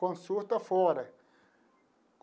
Consulta fora.